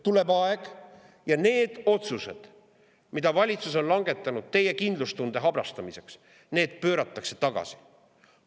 Tuleb aeg ja need otsused, mida valitsus on langetanud teie kindlustunde habrastamiseks, pööratakse tagasi.